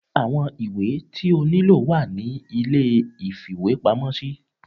awọn ìwé tí o niló wa ní ilé ìfíwepámọ sí